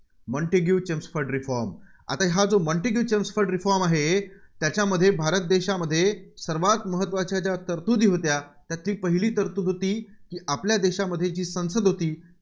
Montagu Chelmsford reforms आता हा जो मॉन्टेग्यू चेम्सफोर्ड reforms आहे, त्याच्यामध्ये भारत देशामध्ये सर्वांत महत्त्वाच्या तरतुदी होत्या त्यातील पहिली तरतुद होती आपल्या देशांमध्ये जी संसद होती